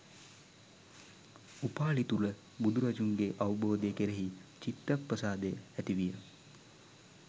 උපාලි තුළ බුදුරජුන්ගේ අවබෝධය කෙරෙහි චිත්ත ප්‍රසාදය ඇති විය